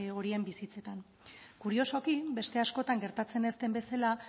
horien bizitzetan kuriosoki beste askotan gertatzen ez den bezala